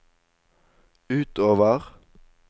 utover